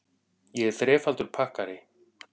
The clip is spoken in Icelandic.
Ég er þrefaldur pakkari.